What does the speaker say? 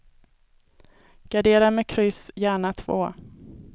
Gardera med kryss, gärna två.